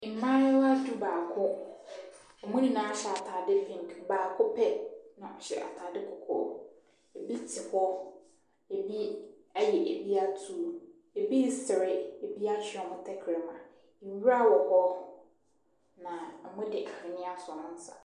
Mmaayewa dubaako. Wɔn nyinaa hye atadeɛ pink. Baako pɛ na ɔhyɛ atadeɛ kɔkɔɔ. Bi te hɔ, ɛbi aye bi atuu, bi resere, bi atwe wɔn tɛkrɛma. Nwura wɔ hɔ, na wɔde ahweneɛ ato wɔn nsa.